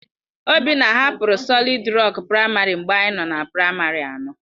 Obinna hapụrụ Solịd Rok Praịmarị mgbe anyị nọ na praịmarị anọ.